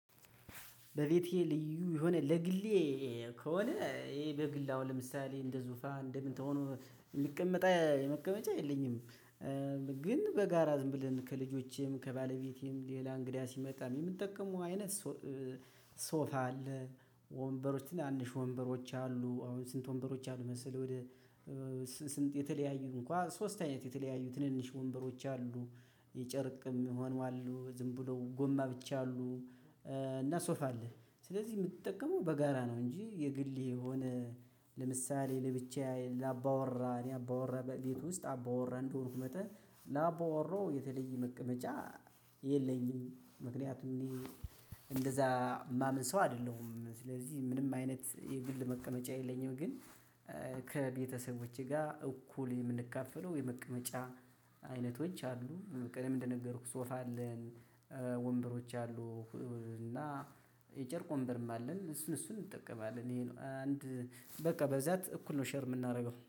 በቤቴ ልዩ የሆነ ለግሌ ከሆነ ይሄ በግል አሁን ለምሳሌ እንደ ዙፋን እንደምን ተሆኖ ምቀመጣ መቀመጫ የለኝም። ግን በጋራ ዝም ብለን ከልጆቼም ከባለቤቴም ሌላ እንግዳ ሲመጣ የምጠቀመው አይነት። ሶፋ አለ። ወንበሮች ትናንሽ ወንበሮች አሉ። ስንት ወንበሮች አሉ መሰለህ? ወደ ስንት የተለያዩ እንኳን ሶስት አይነት የተለያዩ ትንንሽ ወንበሮች አሉ። የጨርቅም ይሆናሉ ዝም ብለው ጎማ ብቻ አሉ። እና ሶፍ አለ። ስለዚህ የምትጠቀመው በጋራ ነው እንጂ የግል የሆነ። ለምሳሌ ለብቻዬ ላባወራ እኔ አባወራ ቤት ውስጥ አባወራ እንደሆንኩ መጠን ላባወራው የተለየ መቀመጫ የለኝም። ምክንያቱም እኔ እንደዛ ማምን ሰው አደለሁም ስለዚህ ምንም አይነት የግል መቀመጫ የለኝም። ግን። ከቤተሰቦቼ ጋ እኩል የምንካፈለው የመቀመጫ አይነቶች አሉ። ቀደም እንደነገርኩህ ሶፍ አለን። ወንበሮች አሉ። እና የጨርቅ ወንበርም አለን እሱን እሱን እንጠቀማለን። እኔ ነው አንድ በቃ በዛት እኩል ነው ሼር ምናደርገው